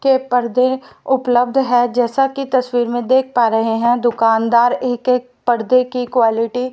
के पर्दे उपलब्ध है जैसा कि तस्वीर में देख पा रहे हैं दुकानदार एक एक पर्दे की क्वॉलिटी --